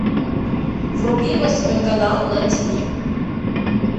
вруби восьмой канал на ти ви